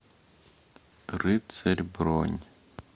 рыцарь бронь